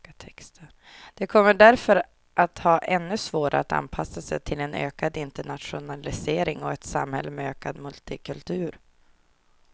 De kommer därför att ha ännu svårare att anpassa sig till en ökad internationalisering och ett samhälle med ökad multikultur.